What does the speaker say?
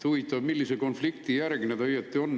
Huvitav, millise konflikti järgne see operatsioon õieti on.